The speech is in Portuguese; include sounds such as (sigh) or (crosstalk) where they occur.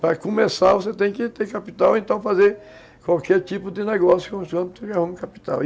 Para começar, você tem que ter capital, então fazer qualquer tipo de negócio, (unintelligible) capital